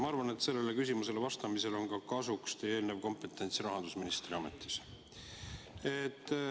Ma arvan, et sellele küsimusele vastamisel tuleb kasuks teie eelnev kompetents rahandusministri ametis.